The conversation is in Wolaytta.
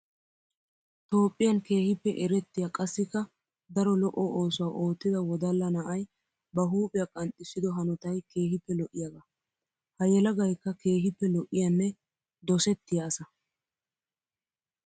Toophphiyan keehippe erettiya qassikka daro lo'o oosuwa oottida wodala na'ay ba huuphiya qanxxissido hanotay keehippe lo'iyaaga. Ha yelagaykka keehippe lo'iyanne dosettiya asa.